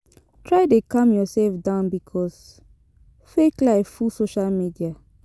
Try de calm yourself down because fake life full social media